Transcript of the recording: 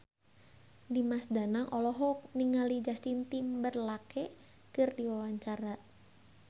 Dimas Danang olohok ningali Justin Timberlake keur diwawancara